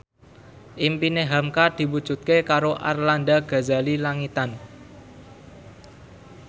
impine hamka diwujudke karo Arlanda Ghazali Langitan